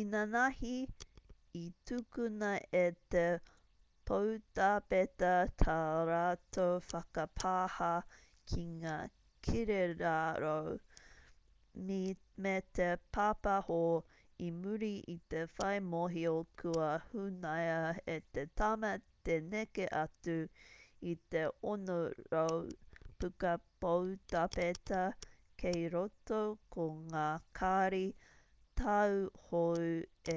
inanahi i tukuna e te poutāpeta tā rātou whakapāha ki ngā kirirarau me te pāpaho i muri i te whai mōhio kua hunaia e te tama te neke atu i te 600 puka poutāpeta kei roto ko ngā kāri tau hou e